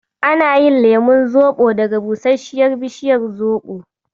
Ana yin lemon zoɓo daga busasshiyar bishiyar zoɓo.